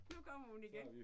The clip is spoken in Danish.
Nu kommer hun igen